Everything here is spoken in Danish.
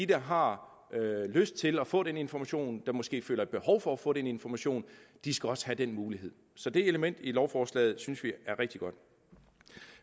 der har lyst til at få den information og som måske føler et behov for at få den information skal også have den mulighed så det element i lovforslaget synes vi er rigtig godt